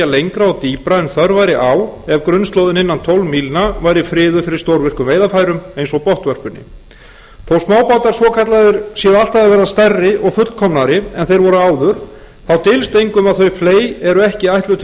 lengra og dýpra en þörf væri á ef grunnslóðin innan tólf mílna væri friðuð fyrir stórvirkum veiðisvæðum eins og botnvörpunni þó smábátar svokallaðir séu alltaf að verða stærri og fullkomnari en þeir voru áður þá dylst engum að þau fley eru ekki ætluð til